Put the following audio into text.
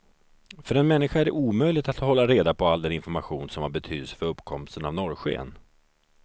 För en människa är det omöjligt att hålla reda på all den information som har betydelse för uppkomsten av norrsken.